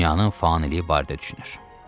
Dünyanın faniliyi barədə düşünür.